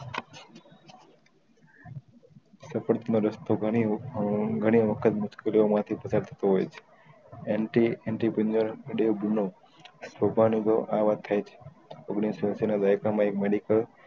સફળ નો રસ્તો ગણી આ ઘણી વખત મુસ્કેલીયો માંથી પશરતું હોય છે એમ થી એમ થી ગુનો સોભાનું તો આ વાત થાય છે ઓઘ્નીશ સૌ એસી ના વ્યાકરણ માં એક medical